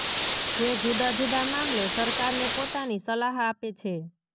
જે જુદા જુદા મામલે સરકારને પોતાની સલાહ આપે છે